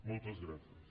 moltes gràcies